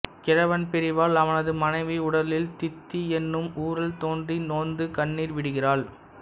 கிழவன் பிரிவால் அவனது மனைவி உடலில் தித்தி என்னும் ஊரல் தோன்றி நொந்து கண்ணீர் விடுகிறாள்